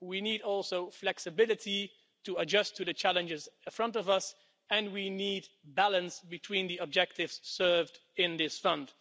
we also need flexibility to adjust to the challenges in front of us and we need balance between the objectives served by this fund.